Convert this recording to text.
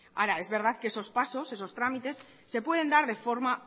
ahora es verdad que esos pasos esos trámites se pueden dar de forma